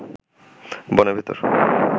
বনের ভেতর